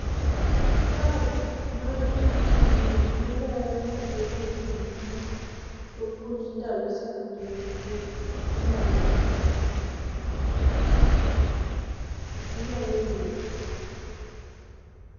Curve mar wich wil malero mathoth ewii gik ma opuonj ndalo sikunde ehiga inyalo wil go.